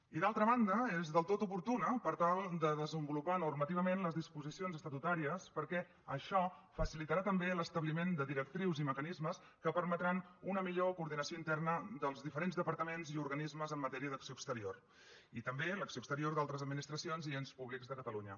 i d’altra banda és del tot oportuna per tal de desenvolupar normativament les disposicions estatutàries perquè això facilitarà també l’establiment de directrius i mecanismes que permetran una millor coordinació interna dels diferents departaments i organismes en matèria d’acció exterior i també l’acció exterior d’altres administracions i ens públics de catalunya